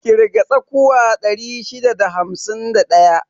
Ƙirga tsakuwa 651.